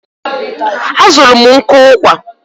A zụrụ m nkụ ụkwà.